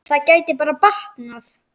Það gæti bara batnað!